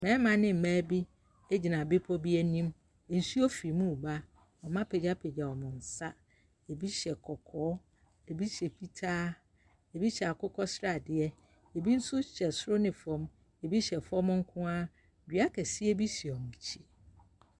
Mmarima ne mmaa bi gyina bepɔ bi anim. Nsuo firi mu reba. Wɔapagyapagya wɔn nsa. Ebi hyɛ kɔkɔɔ, ebi hyɛ fitaa, ebi hyɛ akokɔ sradeɛ, ebi nso hyɛ soro ne fam, ebi hyɛ fam nko ara. Dua kɛseɛ bi si wɔn akyi.